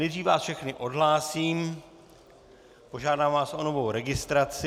Nejdřív vás všechny odhlásím, požádám vás o novou registraci.